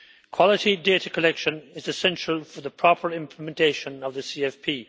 Quality data collection is essential for the proper implementation of the CFP.